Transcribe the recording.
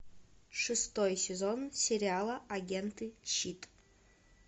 шестой сезон сериала агенты щит